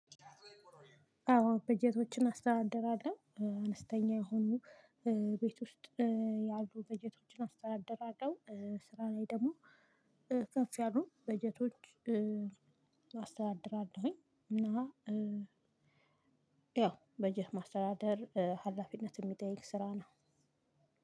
አዎ በጀቶችን አስተዳደራለሁ አነስተኛ የሆኑ ቤት ውስጥ ያሉ በጀቶችን አስተዳደራለሁ። ስራ ላይ ደግሞ ከፍ ያሉ በጀቶች አስተዳድራለሁኝ። እና ያው በጀት ማስተዳደር ሀላፊነት ሚጠይቅ ስራ ነው።